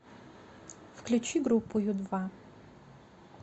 включи группу ю два